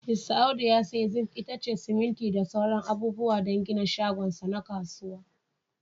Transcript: Mista Audu ya sayi zinc, itace, siminti da sauran abubuwa don gina shagon sa na kasuwa.